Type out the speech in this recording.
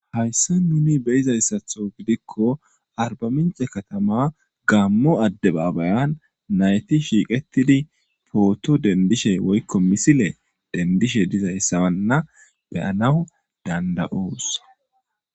hayssa nuni beyizayssatho gidikko arba mince katama gammo adde baabayan nayti shiiqettidi pooto dendishe woykko misile dendishe dizayssawanna beyanawu danda7oos